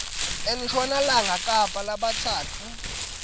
enshonalanga kapa labatsatfu